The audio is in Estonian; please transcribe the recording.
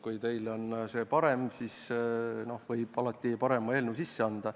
Kui teil on parem eelnõu, siis võite alati selle sisse anda.